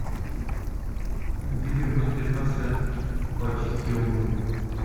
видео мастер класса пр очистке обуви